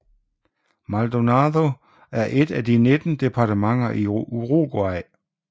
Maldonado er et af de 19 departementer i Uruguay